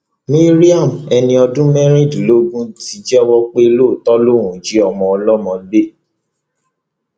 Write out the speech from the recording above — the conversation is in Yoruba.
mariam ẹni ọdún mẹrìnlélógún ti jẹwọ pé lóòótọ lòún jí ọmọ ọlọmọ gbé